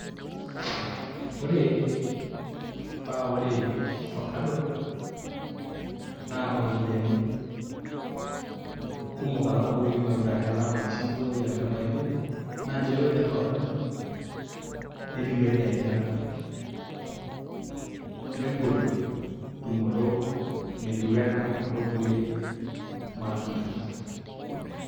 Ore paa Ore ofakado naa iropiyiani kumok alang' ormashugwai ashu kulie matunda naa nchere Ore ninye ofakado openy netiu ena eilata negol tumoto meitiu enaa kuldo kulie matunda.